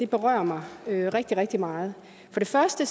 berører mig rigtig rigtig meget for det første